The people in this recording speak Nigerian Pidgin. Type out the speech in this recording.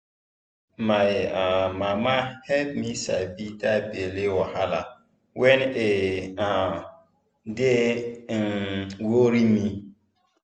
my um mama help me sabi that belly wahala when e um dey um worry me